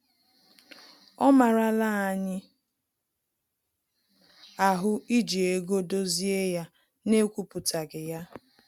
Ọ marala anyị ahụ iji ego dozie ya na-ekwupụtaghi ya